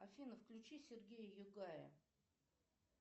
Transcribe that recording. афина включи сергея югая